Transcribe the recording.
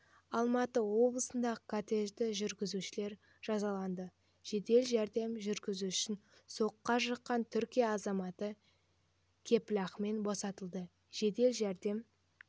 алматы облысындағы кортежі жүргізушілер жазаланды жедел жәрдем жүргізушісін соққыға жыққан түркия азаматы кепілақымен босатылды жедел жәрдем